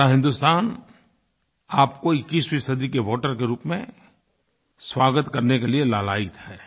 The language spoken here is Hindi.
पूरा हिन्दुस्तान आपको 21वीं सदी के वोटर के रूप में स्वागत करने के लिए लालायित है